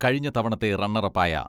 കഴിഞ്ഞ തവണത്തെ റണ്ണറപ്പായ